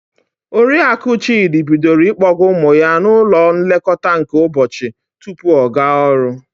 Oriaku Chịdị bidoro ịkpọga ụmụ ya n'ụlọ nlekọta nke ụbọchi tupu ọ gaa ọrụ.